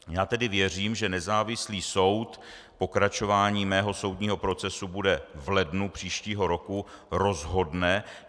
Já tedy věřím, že nezávislý soud, pokračování mého soudního procesu bude v lednu příštího roku, rozhodne.